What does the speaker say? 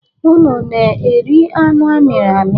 Unu na-eri anụ a mịrị amị?